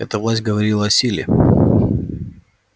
эта власть говорила о силе